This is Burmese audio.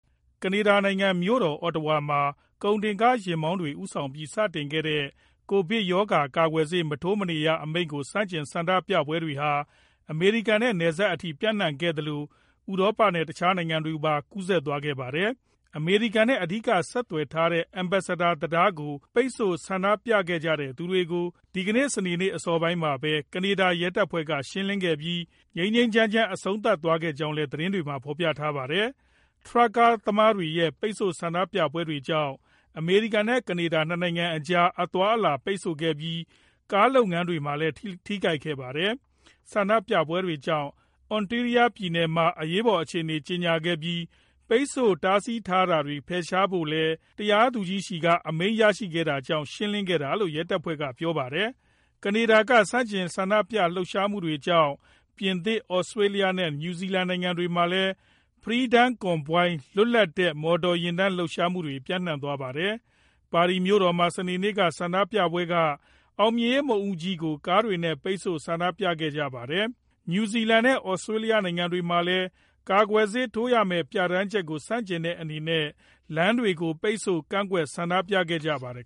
ကနေဒါနိုင်ငံ မြို့တော် Ottawa မှာ ကုန်တင်ကားယာဉ်မောင်းတွေ ဦးဆောင်ပြီး စတင်ခဲ့တဲ့ ကိုဗစ်ရောဂါ ကာကွယ်ဆေး မထိုးမနေရ အမိန့်ကို ဆန့်ကျင်ဆန္ဒပြပွဲတွေဟာ အမေရိကန်နဲ့ နယ်စပ်အထိ ပျံ့နှံ့ခဲ့သလို ဥရောပနဲ့ တခြားနိုင်ငံတွေကိုပါ ကူးစက်သွားပါတယ်။ အမေရိကန်နဲ့ အဓိက ဆက်သွယ်ထားတဲ့ Ambassador တံတားကို ပိတ်ဆို့ ဆန္ဒပြခဲ့တဲ့သူတွေကို ဒီကနေ့ စနေအစောပိုင်းမှာပဲ ကနေဒါရဲတပ်ဖွဲ့က ရှင်းလင်းခဲ့ကြပြီး ငြိမ်းငြိမ်းချမ်းချမ်း အဆုံးသတ်သွားကြောင်းလည်း သတင်းတွေက ဖော်ပြပါတယ်။ ထရပ်ကားသမားတွေရဲ့ ပိတ်ဆို့ ဆန္ဒပြပွဲတွေကြောင့် အမေရိကန်နဲ့ ကနေဒါ ၂ နိုင်ငံကြား အသွားအလာတွေ ပိတ်ဆို့ခဲ့ပြီး ကားလုပ်ငန်းတွေမှာလည်း ထိခိုက်ခဲ့တာပါ။ ဆန္ဒပြပွဲတွေကြောင့် Ontario ပြည်နယ်မှာ အရေးပေါ်အခြေအနေ ကြေညာခဲ့ပြီး ပိတ်ဆို့တားဆီးထားတာတွေကို ဖယ်ရှားဖို့လည်း တရားသူကြီးထံက အမိန့်ရရှိခဲ့တာကြောင့် ရှင်းလင်းခဲ့တာလို့လည်း ရဲတပ်ဖွဲ့က ပြောပါတယ်။ ကနေဒါက ဆန္ဒပြလှုပ်ရှားမှုတွေကြောင့် ပြင်သစ်၊ သြစတြေးလျနဲ့ နယူးဇီလန်နိုင်ငံတွေမှာလည်း Freedom Convoy လွတ်လပ်တဲ့ မော်တော်ယာဉ်တန်း လှုပ်ရှားမှုတွေ ပျံ့နှံ့သွားပါတယ်။ ပါရီမြို့တော်မှာ စနေနေ့က ဆန္ဒပြသူတွေက အောင်မြင်ရေးမုခ်ဦးကြီးကို ကားတွေနဲ့ ပိတ်ဆို့ ဆန္ဒပြကြခဲ့ကြပါတယ်။ နယူးဇီလန်နဲ့ သြစတြေးလျနိုင်ငံတွေမှာလည်း ကာကွယ်ဆေးထိုးရမယ့် ပြဋ္ဌာန်းချက်ကို ဆန့်ကျင်တဲ့အနေနဲ့ လမ်းတွေကို ပိတ်ဆို့ ကန့်ကွက်ဆန္ဒပြခဲ့ကြပါတယ်